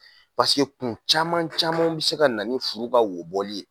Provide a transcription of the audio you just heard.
kun caman caman bɛ se ka na ni furu ka wobɔli ye